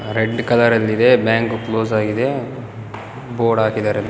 Red ಕಲರಲ್ಲಿದೆ bank close ಆಗಿದೆ board ಹಾಕಿದ್ದಾರೆ .